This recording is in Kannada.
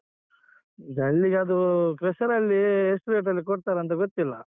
ಜಲ್ಲಿಗದು crusher ರಲ್ಲಿ ಎಷ್ಟು rate ಟಲ್ಲಿ ಕೊಡ್ತಾರಂತ ಗೊತ್ತಿಲ್ಲ.